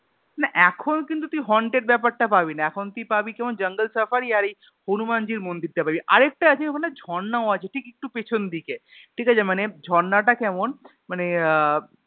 না এখন কিন্তু তুই Haunted ব্যাপার টা পাবিনা এখন তুই পাবি কেমন Jungle safari আর এই হনুমান জির মন্দির টা পাবি আরেকটা আছে ওখানে ঝর্ণাও আছে ঠিক একটু পেছন দিকে ঠিক আছে মানে ঝর্নাটা কেমন মানে আহ